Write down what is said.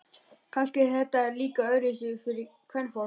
Kannski er þetta líka öðruvísi fyrir kvenfólk.